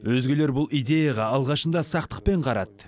өзгелер бұл идеяға алғашында сақтықпен қарады